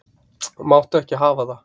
Máttu ekki hafa það.